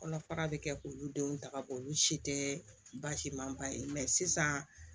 Kɔnɔ fara bɛ kɛ k'olu denw ta ka bɔ olu si tɛ basi man ba ye sisan